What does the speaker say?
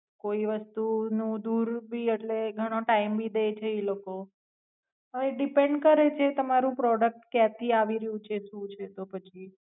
કોઈ વસ્તુ નું દૂર ભી એટલે ઘણો ટાઇમ ભી ડે છે ઈ લોકો હવે depend કરેછે તમારું પ્રોડુક્ટ ક્યાંથી આવીરહ્યું છે સુ છે તો પછી